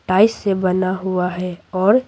dice से बना हुआ है और--